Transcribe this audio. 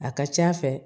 A ka ca a fɛ